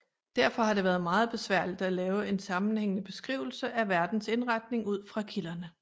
Derfor har det været meget besværligt at lave en sammenhængende beskrivelse af verdens indretning ud fra kilderne